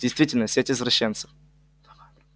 действительно сеть извращенцев